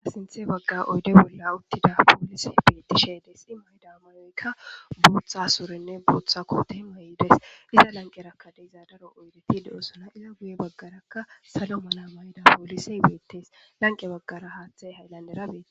asinthe bagga oyde bolla uttida poolise beettishe des i mayda mayoykka buuththa suurinne booththa kootey mayides iza lanqe rakka deizadaro oydeti de7osona iza guye baggarakka salo mana mayda poolisey beettes lanqe baggara haaththey hayllanderabee